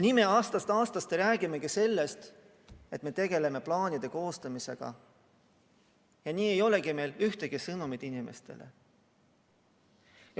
Nii me räägimegi aastast aastasse sellest, et tegeleme plaanide koostamisega, ja nii ei olegi meil inimestele ühtegi sõnumit.